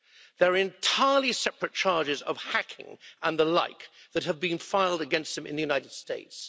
There are entirely separate charges of hacking and the like that have been filed against him in the United States.